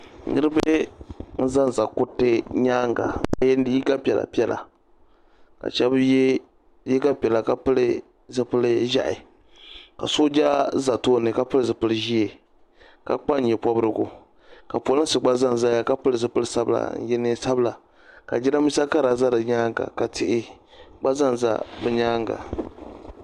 Niriba n-zanza kuriti nyaaŋa ka ye liiga piɛla piɛla ka shɛba ye liiga piɛla ka pili zipili ʒɛhi ka sooja za tooni ka pili zipili ʒee ka kpa nye pɔbirigu ka polinsi gba zanzaya ka pili zipili sabila n-ye neen'sabila ka jirambiisa Kara za di nyaaŋa ka tihi gba za bɛ nyaaŋa.